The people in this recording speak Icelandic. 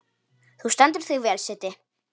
Þú stendur þig vel, Siddi!